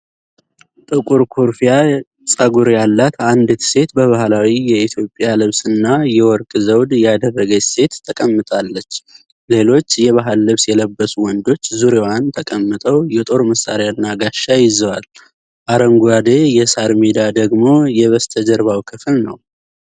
ጥቁር ኩርፊያ ፀጉር ያላት አንዲት ሴት በባህላዊ የኢትዮጵያ ልብስና የወርቅ ዘውድ ያደረገች ሴት ተቀምጣለች። ሌሎች የባህል ልብስ የለበሱ ወንዶች ዙሪያዋን ተቀምጠው የጦር መሳሪያና ጋሻ ይዘዋል፤ አረንጓዴ የሳር ሜዳ ደግሞ የበስተጀርባው ክፍል ነው።